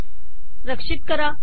रक्षित करा